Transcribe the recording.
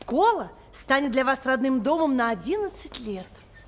школа станет для вас родным домом на одиннадцать лет